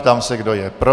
Ptám se, kdo je pro.